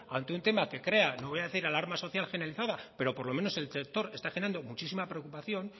ante un tema que crea no voy a decir alarma social generalizada pero por lo menos en el sector está generando muchísima preocupación